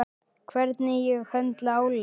Hvernig ég höndla álag.